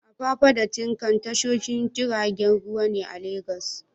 Apapa da Tin Can tashoshin jiragen ruwa ne a Legas.